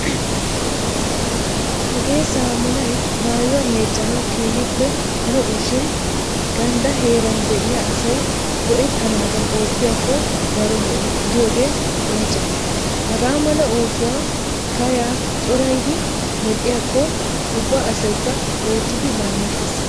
Hagee saamunay maayuwa meeccanawu keehippe lo''o shin ganddaa heeran de'iya asay go''ettanaadan oottiyakko daro lo''o gidiyogee qoncce. Hagaa mala oosuwa kayaa coraydi medhdhiyakko ubba asaykka oottidi laamettees.